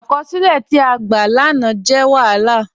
Akọsilẹ̀ ti a gbá ni áná jẹ̀ wahálà.